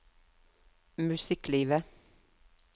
musikklivet